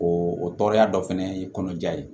O tɔɔrɔya dɔ fɛnɛ ye kɔnɔja ye